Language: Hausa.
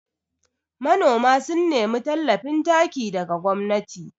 Nanoma sun nemi tallafin taki daga gwamnati